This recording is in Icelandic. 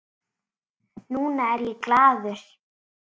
Núna er ég glaður.